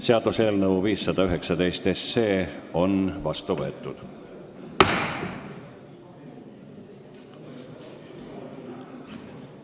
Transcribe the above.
Seaduseelnõu 519 on seadusena vastu võetud.